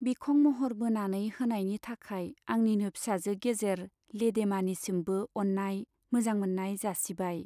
बिखं मह'र बोनानै होनायनि थाखाय आंनिनो फिसाजो गेजेर 'लेदेमा' निसिमबो अन्नाय , मोजां मोन्नाय जासिबाय।